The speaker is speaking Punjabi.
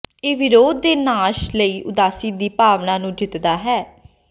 ਇਹ ਵਿਰੋਧ ਦੇ ਨਾਸ਼ ਲਈ ਉਦਾਸੀ ਦੀ ਭਾਵਨਾ ਨੂੰ ਜਿੱਤਦਾ ਹੈ